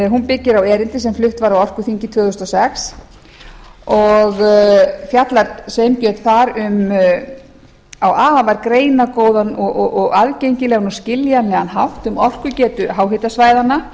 hún byggir á erindi sem flutt var á orkuþingi tvö þúsund og sex og fjallar sveinbjörn þar á afar greinargóðan og aðgengilegan og skiljanlegan hátt um orkugetu háhitasvæðanna